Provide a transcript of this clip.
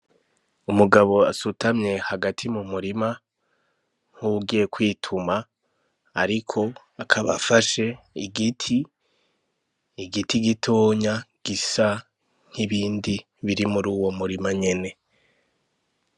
Umugabo asutamye hagati mu murima, nk'uwugiye kwituma. Ariko akaba afashe igiti gitonya gisa nk'ibindi biri muri uwo murima nyene.